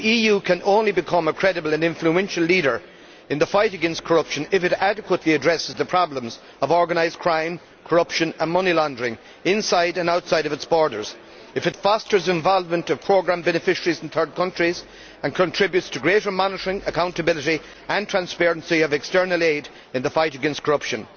The EU can only become a credible and influential leader in the fight against corruption if it adequately addresses the problems of organised crime, corruption and money laundering outside and inside its borders, and if it fosters the involvement of programme beneficiaries in third countries and contributes to greater monitoring, accountability and transparency of external aid in the fight against corruption.